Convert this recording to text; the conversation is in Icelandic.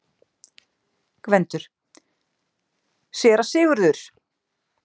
GVENDUR: Séra Sigurður!